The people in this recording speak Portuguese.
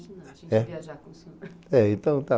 Mas deu para a gente imaginar, a gente viajar com o senhor.